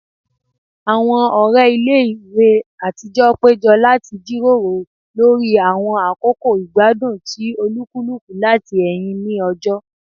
Awọn ọrẹ ile-iwe atijọ pejọ lati jiroro lori awọn akoko igbadun ti olukuluku lati ẹhin ni ọjọ